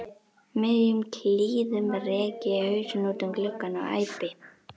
miðjum klíðum rek ég hausinn út um gluggann og æpi